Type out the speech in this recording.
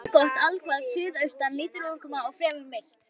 Veður allgott allhvass suðaustan lítil úrkoma og fremur milt.